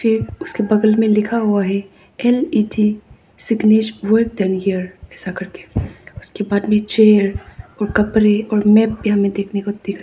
उसके बगल में लिखा हुआ है N E D signage work done here ऐसा करके उसके बाद में चेयर और कपड़े और मैप भी देखने को दिख रहा है।